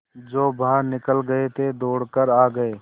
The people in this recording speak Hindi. जो बाहर निकल गये थे दौड़ कर आ गये